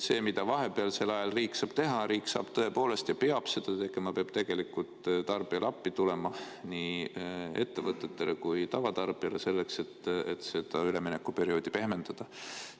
See, mida vahepealsel ajal riik saab teha ja peab tegema: riik peab tarbijale appi tulema, nii ettevõtetele kui ka tavatarbijatele, et seda üleminekuperioodi pehmendada.